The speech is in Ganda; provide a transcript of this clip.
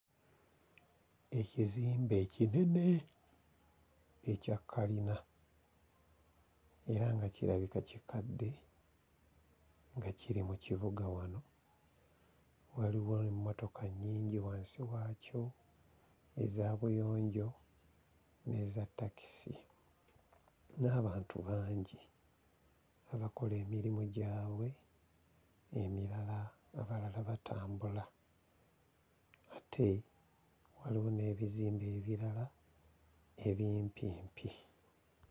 Ekizimbe kinene ekya kalina era nga kirabika kikadde nga kiri mu kibuga wano waliwo emmotoka nnyingi wansi waakyo eza buyonjo n'eza ttakisi n'abantu bangi abakola emirimu gyabwe emirala ng'abalala batambula ate waliwo n'ebizimbe ebirala ebimpimpi.